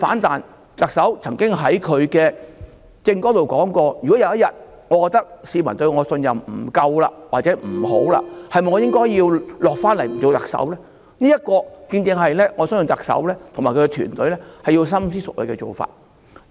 特首曾經說過，"如果有一天我覺得市民對我的信任不夠，或者不好的時候，我是否應該下來不做特首"，我相信這正正是特首和她的團隊要深思熟慮的事情。